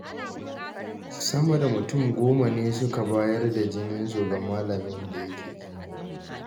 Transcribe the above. Sama da mutum 10 ne suka bayar da jininsu ga malamin da yake jinya.